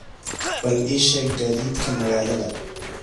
bal ii sheeg gaadiidka magaalada